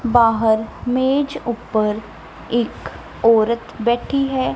ਬਾਹਰ ਮੇਜ ਉੱਪਰ ਇਕ ਔਰਤ ਬੈਠੀ ਹੈ।